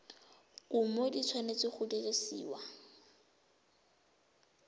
kumo di tshwanetse go dirisiwa